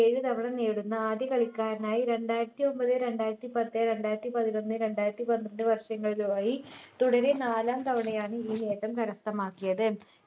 ഏഴു തവണ നേടുന്ന ആദ്യ കളിക്കാരനായി രണ്ടായിരത്തി ഒമ്പത്‌ രണ്ടായിരത്തി പത്ത് രണ്ടായിരത്തി പത്തിനൊന്ന് രണ്ടായിരത്തിപന്ത്രണ്ട് വർഷങ്ങളിലുമായി തുടരെ നാലാം തവണയാണ് ഈ നേട്ടം കരസ്ഥമാക്കിയത്